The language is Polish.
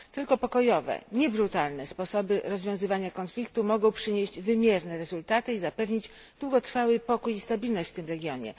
Tylko pokojowe, nie brutalne, sposoby rozwiązywania konfliktu mogą przynieść wymierne rezultaty i zapewnić długotrwały pokój i stabilność w tym regionie.